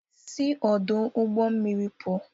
Si ọdu ụgbọ mmiri a pụọ!